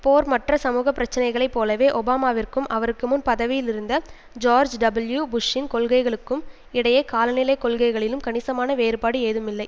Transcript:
போர் மற்ற சமூக பிரச்சினைகளை போலவே ஒபாமாவிற்கும் அவருக்கு முன் பதவியில் இருந்த ஜார்ஜ் டபுள்யூ புஷ்ஷின் கொள்கைகளுக்கும் இடையே காலநிலை கொள்கைகளிலும் கணிசமான வேறுபாடு ஏதும் இல்லை